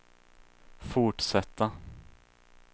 fortsätta